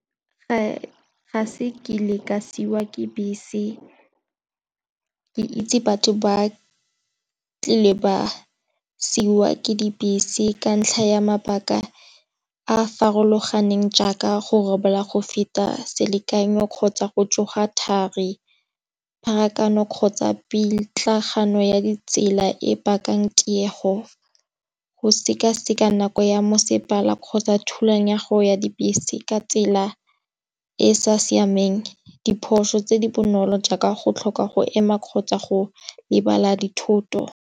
Ga se kile ka siwa ke bese ke itse batho ba tlile ba siwa ke dibese. Ka ntlha ya mabaka a farologaneng jaaka go robala go feta selekanyo kgotsa go tsoga thari, pharakano kgotsa pitlagano ya ditsela e bakang tiego. Go sekaseka nako ya mosepela kgotsa thusang ya go ya dibese ka tsela e e sa siameng diphoso tse di bonolo jaaka go tlhoka go ema kgotsa go lebala dithoto.